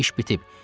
İş bitib.